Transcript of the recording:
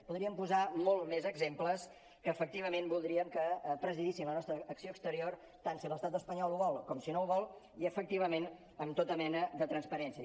podríem posar molts més exemples que efectivament voldríem que presidissin la nostra acció exterior tant si l’estat espanyol ho vol com si no ho vol i efectivament amb tota mena de transparència